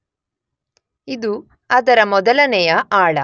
ಇದು ಅದರ ಮೊದಲನೆಯ ಆಳ.